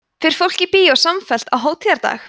fer fólk í bíó samfellt á hátíðardag